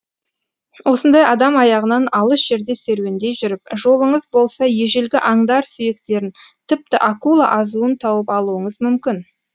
осындай адам аяғынан алыс жерде серуендей жүріп жолыңыз болса ежелгі аңдар сүйектерін тіпті акула азуын тауып алуыңыз мүмкін